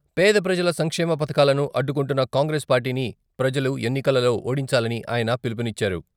పేద ప్రజల సంక్షేమ పథకాలను అడ్డుకుంటున్న కాంగ్రెస్ పార్టీని ప్రజలు ఎన్నికలలో ఓడించాలని ఆయన పిలుపునిచ్చారు.